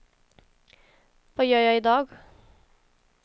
vad gör jag idag